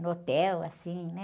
No hotel, assim, né?